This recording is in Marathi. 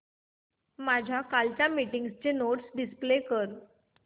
माझ्या कालच्या मीटिंगच्या नोट्स डिस्प्ले कर